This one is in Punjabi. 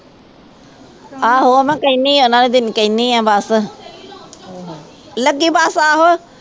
ਆਹੋ ਮੈਂ ਕਹਿਨੀ ਹਾਂ ਉਹਨਾਂ ਕਹਿਨੀ ਹਾਂ ਬਸ ਲੱਗੀ ਬਸ ਆਹੋ।